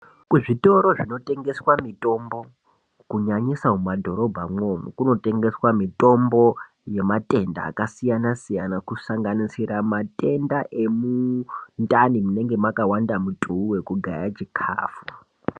Kuzvitoro zvinotengesa mitombo kunyanyisa mumadhorobha imwomo kunotengeswa mitombo yematenda akasiyana siyana kusanaganisira matenda emundani munenge makawanda mutuu wekugaya chikafu.